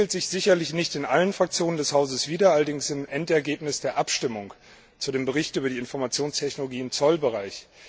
Das spiegelt sich sicherlich nicht bei allen Fraktionen des Hauses wider, allerdings im Endergebnis der Abstimmung über den Bericht über die Informationstechnologien im Zollbereich.